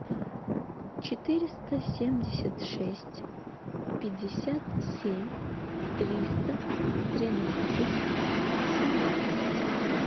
четыреста семьдесят шесть пятьдесят семь триста тринадцать семнадцать